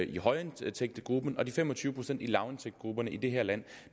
i højindtægtsgruppen og de fem og tyve procent i lavindtægtsgrupperne i det her land